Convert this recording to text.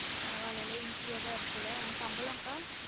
பரவால்லல easy யா தான் இருக்குல சம்பளம் கா